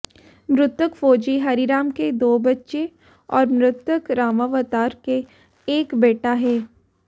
मृतक फौजी हरिराम के दो बच्चे और मृतक रामावतार के एक बेटा है